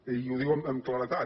i ho diu amb claredat